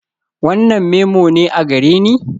Wannan memo ne a gareni?